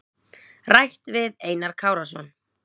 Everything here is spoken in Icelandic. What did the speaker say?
Rætt við Einar Kárason.